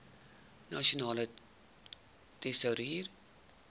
nasionale tesourie